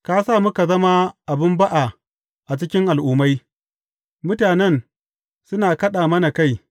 Ka sa muka zama abin ba’a a cikin al’ummai; mutanen suna kaɗa mana kai.